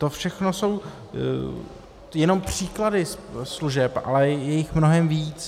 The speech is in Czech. To všechno jsou jenom příklady služeb, ale je jich mnohem víc.